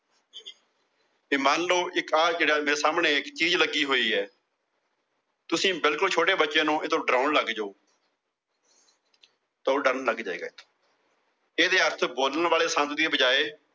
ਤੇ ਮੰਨ ਲਓ ਜਿਹੜਾ ਸਾਹਮਣੇ ਚੀਜ਼ ਲੱਗੀ ਹੋਈ ਆ ਤੁਸੀਂ ਬਿਲਕੁਲ ਛੋਟੇ ਬੱਚੇ ਨੂੰ ਇਹਤੋਂ ਡਰਾਉਣ ਲੱਗ ਜੋ ਤਾਂ ਉਹ ਡਰਨ ਲੱਗ ਜਾਏਗਾ ਇਹਦੇ ਅਰਥ ਬੋਲਣ ਵਾਲੇ ਦੀ ਬਜਾਏ